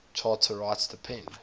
charter rights depend